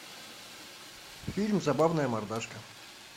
фильм забавная мордашка